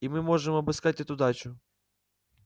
и мы можем обыскать эту дачу